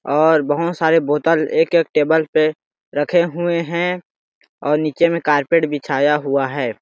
और बहुत सारे बोतल एक - एक टेबल पे रखे हुए है और नीचे में कारपेट बिछाया हुआ है।